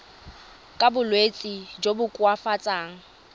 ka bolwetsi jo bo koafatsang